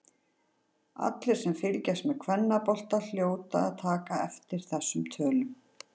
Allir sem fylgjast með kvennabolta hljóta að taka eftir þessum tölum.